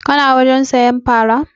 Ka na wajen sayan fara?